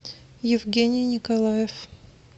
евгений николаев